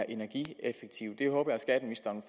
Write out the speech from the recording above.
energieffektiv det håber jeg skatteministeren